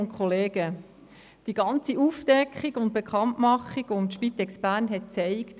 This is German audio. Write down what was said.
Die Aufdeckung und Bekanntmachung des Falls Spitex Bern zeigt: